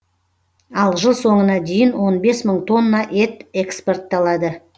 ал жыл соңына дейін он бес мың тонна ет экспортталады